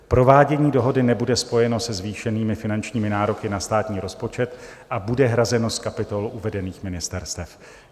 Provádění dohody nebude spojeno se zvýšenými finančními nároky na státní rozpočet a bude hrazeno z kapitol uvedených ministerstev.